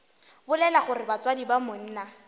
bolela gore batswadi ba monna